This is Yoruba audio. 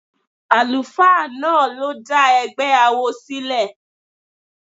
The pastor was the founder of the cult group.